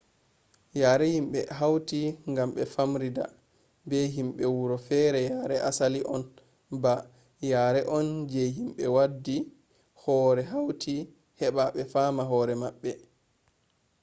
yare himɓe hauti gam ɓe famrida be himɓe wuro fere yare asali on ba yare on je himɓe waddi hore hauti heɓa ɓe faama hore maɓɓe